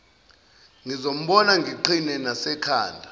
ngizombona ngiqhine nasekhanda